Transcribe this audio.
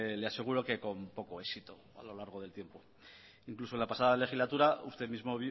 le aseguro que con poco éxito a lo largo del tiempo incluso en la pasada legislatura usted mismo